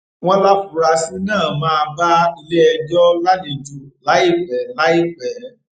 wọn láfuarasí náà máa bá iléẹjọ lálejò láìpẹ láìpẹ